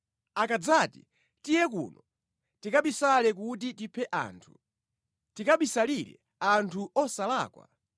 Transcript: Akadzati, “Tiye kuno; tikabisale kuti tiphe anthu, tikabisalire anthu osalakwa;